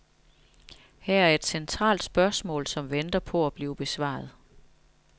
Her er et centralt spørgsmål, som venter på at blive besvaret.